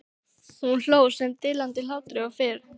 Hún hló sama dillandi hlátrinum og fyrr.